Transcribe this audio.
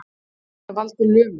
Getur þetta valdið lömun